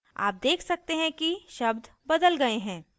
आप देख सकते हैं कि शब्द बदल गए हैं